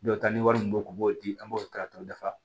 Dɔw ta ni wari min be u b'o di an b'o ta ka t'o dafa